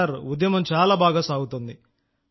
sir చాలా బాగా జరుగుతోంది